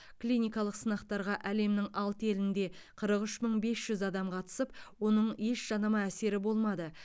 клиникалық сынақтарға әлемнің алты елінде қырық үш мың бес жүз адам қатысып оның еш жанама әсері болмады